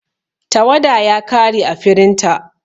Tawada ya kare ã firinta.